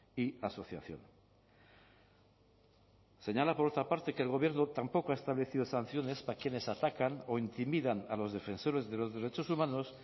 y asociación señala por otra parte que el gobierno tampoco ha establecido sanciones para quienes atacan o intimidan a los defensores de los derechos humanos